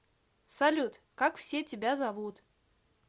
салют как все тебя зовут